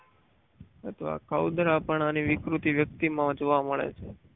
અથવા ખાવ જરા પણ આની વિકૃતિ વ્યક્ત વ્યક્તિમાં જોવા મળે છે.